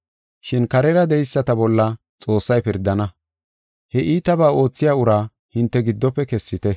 Shin karera de7eyisata bolla Xoossay pirdana. He iitaba oothiya ura hinte giddofe kessite.